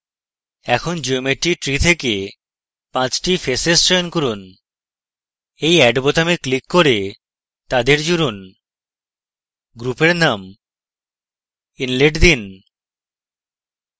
এখন geometry tree থেকে পাঁচটি faces চয়ন করুন এই add বোতামে ক্লিক করে তাদের জুড়ুন গ্রূপের name inlet দিন